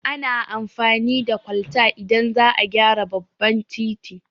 Ana amfani da kwalta idan za a gyara babban titi